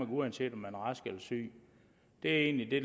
uanset om man er rask eller syg det er egentlig det